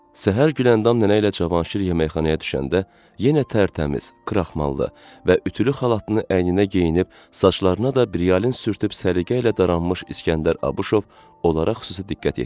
Səhər Güləndam nənə ilə Cavanşir yeməkxanaya düşəndə yenə tərtəmiz, kraxmanlı və ütülü xalatını əyninə geyinib, saçlarına da briyan sürtdüyüb səliqə ilə daramış İsgəndər Abışov onlara xüsusi diqqət yetirdi.